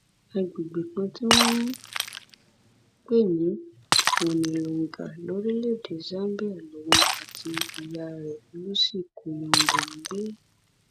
àgbègbè kan tí wọn ń pè ní mwinnilunga lórílẹèdè zambia lòun àti ìyá rẹ lucy kayombo ń gbé